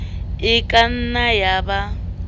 e ka nnang ya ba